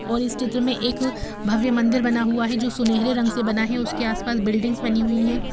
और इस चित्र में एक भव्य मंदिर बना हुआ है जो सुनहरे रंग से बना हुआ है असके आसपास बिल्डिंग्स बनी हुई है।